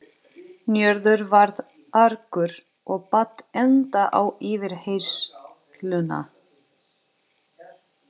Njörður varð argur og batt enda á yfirheyrsluna.